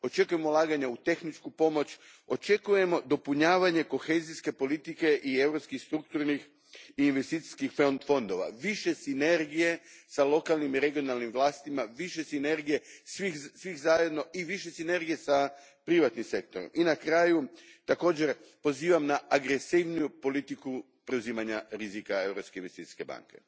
Očekujemo ulaganja u tehničku pomoć, očekujemo dopunjavanje kohezijske politike i europskih strukturnih i investicijskih fondova, više sinergije s lokalnim i regionalnim vlastima, više sinergije svih zajedno i više sinergije s privatnim sektorom. I na kraju, također pozivam na agresivniju politiku preuzimanja rizika Europske investicijske banke.